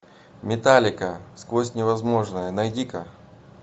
металлика сквозь невозможное найди ка